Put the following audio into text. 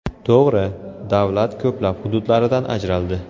To‘g‘ri, davlat ko‘plab hududlaridan ajraldi.